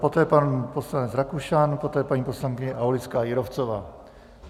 Poté pan poslanec Rakušan, poté paní poslankyně Aulická Jírovcová.